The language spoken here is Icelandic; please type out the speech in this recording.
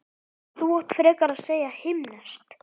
Þú átt frekar að segja himneskt